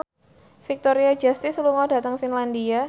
Victoria Justice lunga dhateng Finlandia